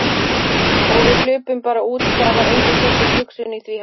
Og við hlupum bara út, það var engin sérstök hugsun í því, held ég.